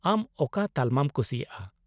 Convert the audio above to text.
-ᱟᱢ ᱚᱠᱟ ᱛᱟᱞᱢᱟᱢ ᱠᱩᱥᱤᱭᱟᱜᱼᱟ ?